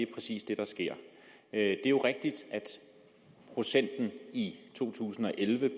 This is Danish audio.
præcis det der sker det er jo rigtigt at procenten i to tusind og elleve